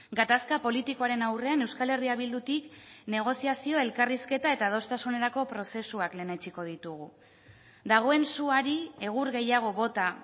gatazka politikoaren aurrean euskal herria bildutik negoziazioa elkarrizketa eta adostasunerako prozesuak lehenetsiko ditugu dagoen suari egur gehiago bota